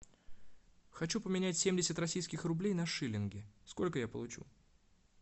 хочу поменять семьдесят российских рублей на шиллинги сколько я получу